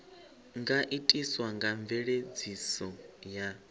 nga itiswa nga mveledziso ya